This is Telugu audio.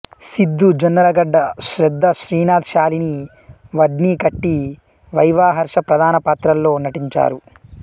సిద్ధు జొన్నలగడ్డ శ్రద్దా శ్రీనాథ్ షాలిని వడ్నికట్టి వైవా హర్ష ప్రధాన పాత్రల్లో నటించారు